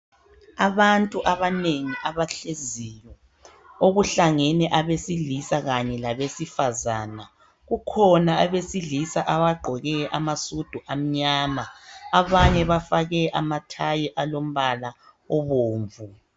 Abantu abanengi abahleziyo okuhlangene abesilisa kanye labesifazana. Kukhona abesilisa abagqoke amasudu amnyama abanye bafake amathayi alombala obomvu.